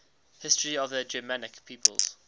history of the germanic peoples